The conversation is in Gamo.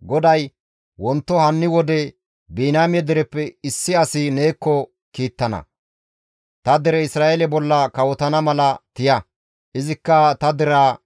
GODAY, «Wonto hanni wode Biniyaame dereppe issi as neekko kiittana; ta dere Isra7eele bolla kawotana mala tiya; izikka ta deraa